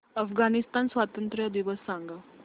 अफगाणिस्तान स्वातंत्र्य दिवस सांगा